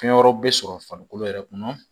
Fɛn wɛrɛw bɛ sɔrɔ farikolo yɛrɛ kɔnɔ